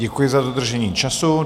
Děkuji za dodržení času.